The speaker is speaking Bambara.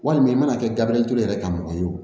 Walima i mana kɛ gabriel ture yɛrɛ ka mɔgɔ ye o